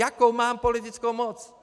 Jakou mám politickou moc?